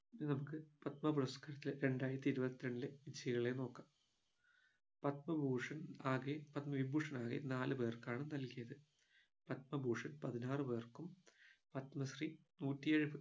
ഇനി നമുക്ക് പത്മ പുരസ്കാരത്തിലെ രണ്ടായിരത്തി ഇരുപത്തി രണ്ടിലെ വിജയികളെ നോക്കാം പത്മഭൂഷൺ ആകെ പത്മവിഭൂഷൺ ആകെ നാലുപേർക്കാണ് നൽകിയത് പത്മഭൂഷൺ പതിനാറു പേർക്കും പത്മശ്രീ നൂറ്റിയെഴു പേർ